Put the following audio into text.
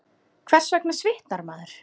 Hvers vegna svitnar maður?